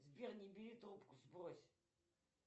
сбер не бери трубку сбрось